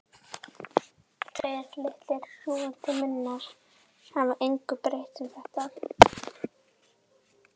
Tveir litlir sjúgandi munnar hafa engu breytt um þetta.